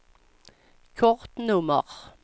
kortnummer